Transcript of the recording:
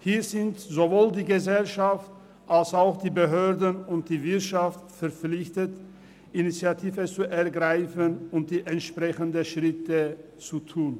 Hier sind sowohl die Gesellschaft als auch die Behörden und die Wirtschaft verpflichtet, Initiative zu ergreifen und die entsprechenden Schritte zu tun.